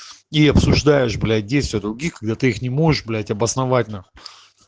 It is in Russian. и обсуждаешь блять действия других когда ты их не можешь блять обосновать нахуи